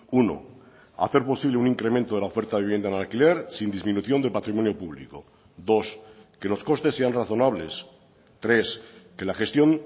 uno hacer posible un incremento de la oferta de vivienda en alquiler sin disminución de patrimonio público dos que los costes sean razonables tres que la gestión